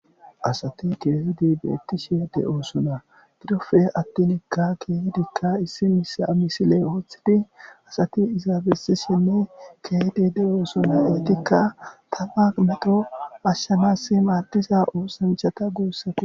asati keehidi beettishe de oosuna dirofe attinikka keehidikka issi misile woothidi asati izaabesishenne kedi de oosuna iitikka tafa meqo ashshamassi maadiza oosamchata guussate